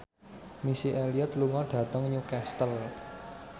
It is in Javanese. Missy Elliott lunga dhateng Newcastle